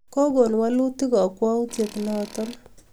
Kokon walutik kakwautyet neto